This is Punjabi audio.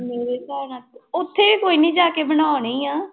ਮੇਰੇ ਹਿਸਾਬ ਨਾਲ, ਉੱਥੇ ਕੋਈ ਨੀ ਜਾ ਕੇ ਬਣਾਉਣੇ ਹੀ ਆਂ।